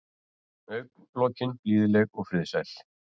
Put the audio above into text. Augnalokin blíðleg og friðsæl.